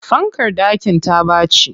Fankar ɗakin ta ɓaci.